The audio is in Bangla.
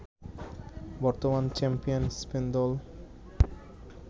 বর্তমান চ্যাম্পিয়ন স্পেন দল